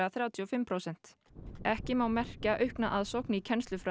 þrjátíu og fimm prósent ekki má merkja aukna aðsókn í